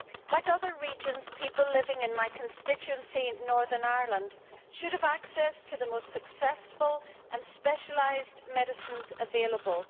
As in other regions, people living in my constituency in Northern Ireland should have access to the most successful and specialised medicines available.